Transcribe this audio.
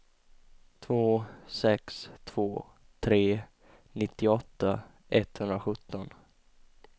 två sex två tre nittioåtta etthundrasjutton